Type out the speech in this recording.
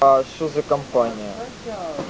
а что за компания